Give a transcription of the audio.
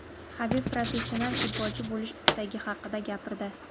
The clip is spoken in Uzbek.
Habib professional futbolchi bo‘lish istagi haqida gapirdi.